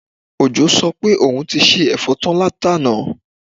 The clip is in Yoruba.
Òjó sọ pé òun ti se ẹ̀fọ́ tán látàná